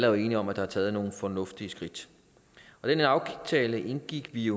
jo enige om at der er taget nogle fornuftige skridt den her aftale indgik vi